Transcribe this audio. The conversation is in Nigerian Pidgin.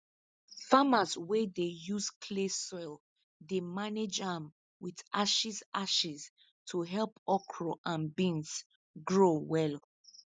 farmers wey dey use clay soil dey manage am with ashes ashes to help okra and beans grow well